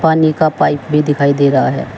पानी का पाइप भी दिखाई दे रहा है।